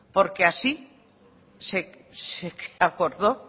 porque así se acordó